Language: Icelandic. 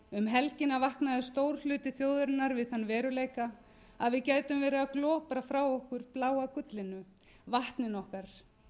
helgina vaknaði stór hluti þjóðarinnar við þann veruleika að við gætum leið að glopra frá okkur bláa gullinu vatninu okkar